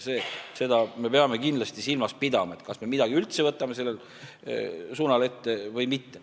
Seda me peame silmas pidama, et kas me midagi üldse võtame sellel suunal ette või mitte.